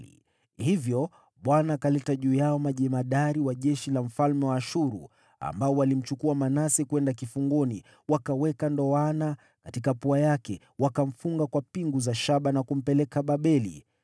Hivyo Bwana akaleta juu yao majemadari wa jeshi la mfalme wa Ashuru, ambao walimchukua Manase kwenda kifungoni, wakaweka ndoana katika pua yake, wakamfunga kwa pingu za shaba na kumpeleka Babeli.